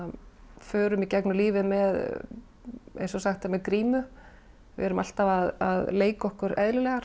förum í gegnum lífið eins og sagt er með grímu við erum alltaf að leika okkur eðlilegar